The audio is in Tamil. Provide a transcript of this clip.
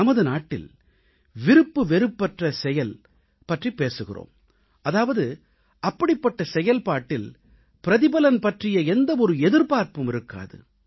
நமது நாட்டில் விருப்பு வெறுப்பற்ற செயல் பற்றிப் பேசுகிறோம் அதாவது அப்படிப்பட்ட செயல்பாட்டில் பிரதிபலன் பற்றிய எந்தவொரு எதிர்பார்ப்பும் இருக்காது